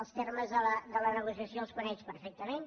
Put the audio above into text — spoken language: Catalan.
els termes de la negociació els coneix perfectament